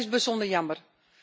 Dat is bijzonder jammer.